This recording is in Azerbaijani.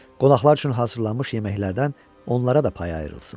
Qonaqlar üçün hazırlanmış yeməklərdən onlara da pay ayrılsın.